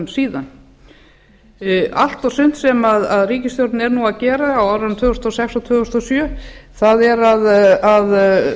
síðan allt og sumt sem ríkisstjórnin er nú að gera á árunum tvö þúsund og sex og tvö þúsund og sjö er að